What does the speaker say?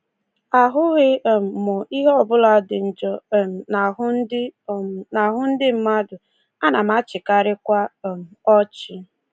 Ahụghị um m ihe ọbụla dị njọ um n'ahụ ndị um n'ahụ ndị mmadụ, ana m achịkarịkwa um ọchị.